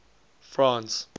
france